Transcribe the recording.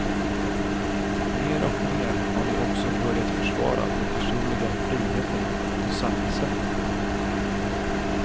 Mer och mer har de också börjat försvara de personliga friheterna på samma sätt.